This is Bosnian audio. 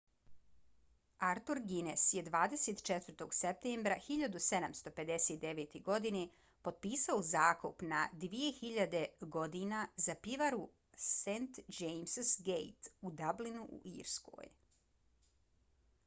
arthur guinness je 24. septembra 1759. godine potpisao zakup na 9.000 godina za pivaru st james‘ gate u dublinu u irskoj